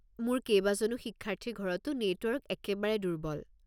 মোৰ কেইবাজনো শিক্ষাৰ্থীৰ ঘৰতো নেটৱৰ্ক একেবাৰে দুৰ্বল।